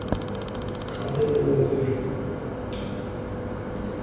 gape bonnye gangwe ka ngwaga